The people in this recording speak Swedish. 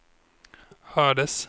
hördes